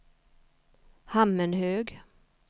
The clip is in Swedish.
Hammenhög